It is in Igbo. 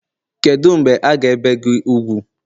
kedu mgbe a ga ebee gi úgwù?